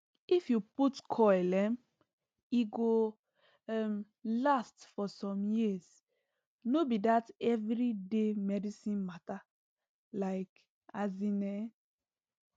if u put coil um e go um last for som years no be that everi day medicine mata like asin eeh